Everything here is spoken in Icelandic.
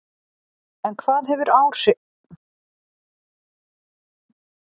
En hvaða áhrif hefur dans á líkama og sál?